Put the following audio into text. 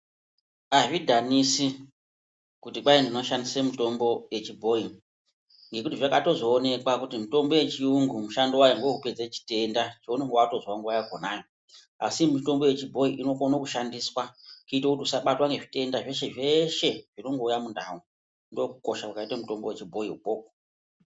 Azvi dhanisi kuti kwai ndino shandise mutombo ye chibhoyi ngekuti zvakazoto onekwa kuti mutombo ye chiyungu mushando wayo ngewe kupedza chitenda chounonga watozwa nguva yakona asi mitombo ye chibhoyi inokona kushandiswa kuitira kuti usabatwa ne zvitenda zveshe zveshe zvinongo uya mu ndau ndo kukosha kwakaita mutombo we chibhoyi ikoko.